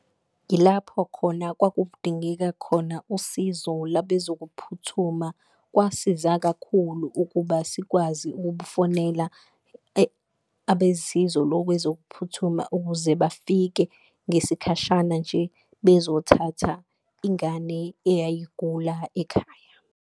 Ilapho khona kwakudingeka khona usizo labezokuphuthuma kwasiza kakhulu, ukuba sikwazi ukubufonela abesizo lokwezokuphuthuma, ukuze bafike ngesikhashana nje bezothatha ingane eyayigula ekhaya.